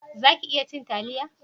Za ki iya cin taliya?